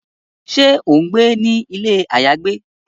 Ṣe o ngbé ni ilé ayagbe?